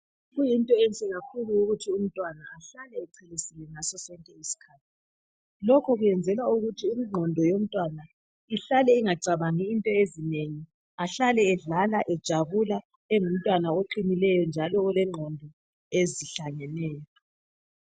Into enhle kakhulu yikuthi umntwana ahlale echelesile ngaso sonke iskhathi Lokhu kwenzelwa ukuthi ingqondo yomntwana ihlale ingacabangi into ezinengi ahlale ejabula abe ngumntwana oqinileyo njalo olengqondo ezihlangeneyo